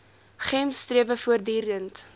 gems strewe voortdurend